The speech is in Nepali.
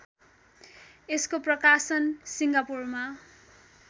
यसको प्रकाशन सिङ्गापुरमा